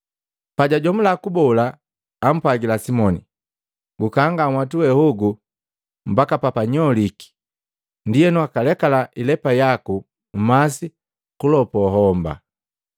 Pajajomula kubola, ampwagila Simoni, “Gukanga nhwatu we hogu mbaka papanyoliki ndienu wakalekala ilepa yaku mmasi gulopua homba.”